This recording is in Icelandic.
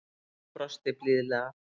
Sonja brosti blíðlega.